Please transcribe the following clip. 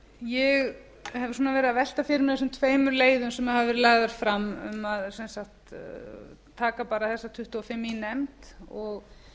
ég hef verið að velta fyrir mér þessum tveimur leiðum sem hafa verið lagðar fram um að taka bara þessa tuttugu og fimm í nefnd og